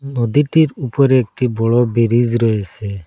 নদীটির উপরে একটি বড় বিরিজ রয়েছে।